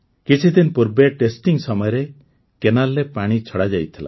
କିଛି ଦିନ ପୂର୍ବେ ଟେଷ୍ଟିଂ ସମୟରେ କେନାଲ୍ରେ ପାଣି ଛଡ଼ାଯାଇଥିଲା